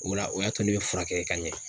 O la o y'a to ne bɛ furakɛ ka ɲɛ.